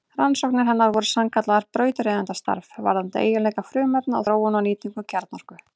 Rannsóknir hennar voru sannkallað brautryðjendastarf varðandi eiginleika frumefna og þróun og nýtingu kjarnorku.